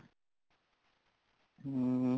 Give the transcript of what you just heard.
ਹਮ